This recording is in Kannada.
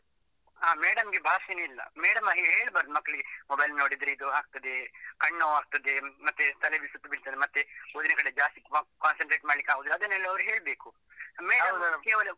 ಆ madam ಗೆ ಭಾಷೆನೇ ಇಲ್ಲ, madam ಹಾಗೆ ಹೇಳ್ಬಾರ್ದು ಮಕ್ಕಳಿಗೆ. Mobile ನೋಡಿದ್ರೆ ಇದು ಆಗ್ತದೆ, ಕಣ್ಣು ನೋವಾಗ್ತದೆ, ಮತ್ತೆ ತಲೆಯಲ್ಲಿ ಸುತ್ತು ಬೀಳ್ತದೆ, ಮತ್ತೆ ಉಳಿದದ್ರಲ್ಲಿ ಜಾಸ್ತಿ concentrate ಮಾಡ್ಲಿಕ್ಕೆ ಆಗುದಿಲ್ಲ ಅದನೆಲ್ಲ ಅವರು ಹೇಳ್ಬೇಕು.